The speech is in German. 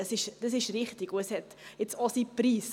Das ist richtig, und es hat nun auch seinen Preis.